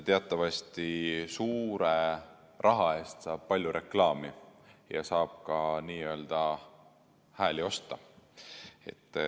Teatavasti suure raha eest saab palju reklaami ja saab ka n-ö hääli osta.